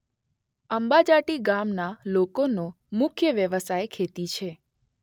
આંબાજાટી ગામના લોકોનો મુખ્ય વ્યવસાય ખેતી છે.